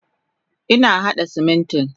Ina hada Simintin.